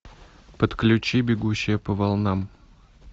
подключи бегущая по волнам